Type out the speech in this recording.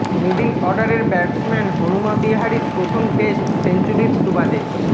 middle অর্ডারের batsman Hanuma বিহারির প্রথম টেস্ট সেঞ্চুরির সুবাদে